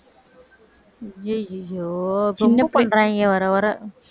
ஐய்யைய்யோ ரொம்ப பண்றாங்க வர வர